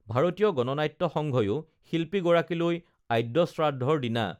ভাৰতীয় গণনাট্য সংঘয়ো শিল্পী গৰাকীলৈ আদ্যশ্ৰাদ্ধৰ দিনা